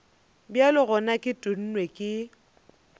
bjale gona ke tennwe ke